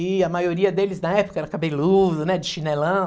E a maioria deles na época era cabeludo, né, de chinelão.